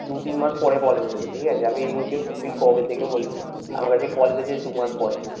দু তিন মাস পরে call এসেছে ঠিক আছে, আমি interview সেই কবে থেকে বলছি আমার কাছে call এসেছে দু মাস পরে,